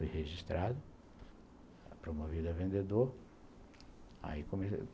Fui registrado, promovido a vendedor.